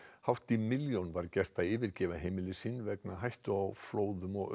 hátt í milljón var gert að yfirgefa heimili sín vegna hættu á flóðum og